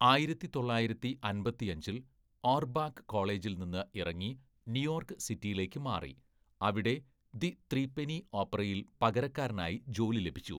ആയിരത്തി തൊള്ളായിരത്തി അമ്പത്തിയഞ്ചില്‍, ഓർബാക്ക് കോളേജിൽ നിന്ന് ഇറങ്ങി ന്യൂയോർക്ക് സിറ്റിയിലേക്ക് മാറി, അവിടെ ദി ത്രീപെന്നി ഓപ്പറയിൽ പകരക്കാരനായി ജോലി ലഭിച്ചു.